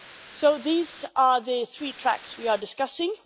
So these are the three tracks we are discussing.